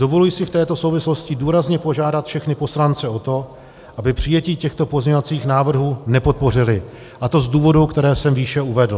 Dovoluji si v této souvislosti důrazně požádat všechny poslance o to, aby přijetí těchto pozměňovacích návrhů nepodpořili, a to z důvodů, které jsem výše uvedl.